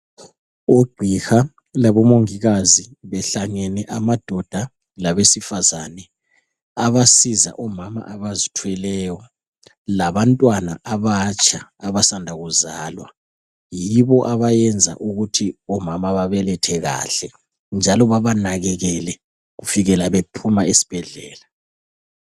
Ugqiha labomongikazi, behlangene amadoda labesifazana. Abasiza omama abazithweleyo. Labantwana abatsha, abasanda kuzalwa. Yibo abayenza ukuthi omama babelethe kahle, njalo babanakekele, kufikela bephuma esibhedlela.